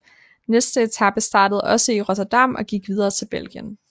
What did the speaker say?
Næste etape startede også i Rotterdam og gik videre til Belgien